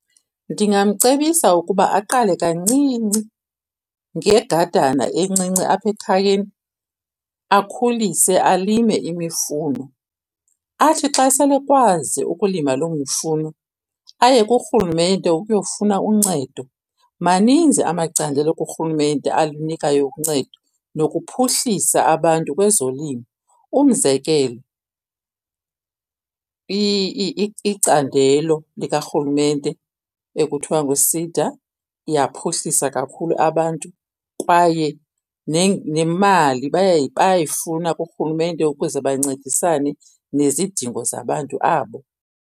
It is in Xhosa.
Ndingamcebisa ukuba aqale kancinci ngegadana encinci apha ekhayeni akhulise alime imifuno. Athi xa sele akwazi ukulima loo mifuno aye kurhulumente ukuyofuna uncedo. Maninzi amacandelo kurhulumente alinikayo uncedo nokuphuhlisa abantu kwezolimo. Umzekelo, icandelo likarhulumente ekuthiwa nguSEDA iyaphuhlisa kakhulu abantu kwaye nemali bayayifuna kurhulumente ukuze bancedisane nezidingo zabantu abo.